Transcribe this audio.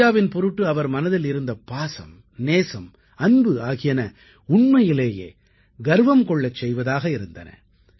இந்தியாவின் பொருட்டு அவர் மனதில் இருந்த பாசம் நேசம் அன்பு ஆகியன உண்மையிலேயே கர்வம் கொள்ள செய்வதாக இருந்தன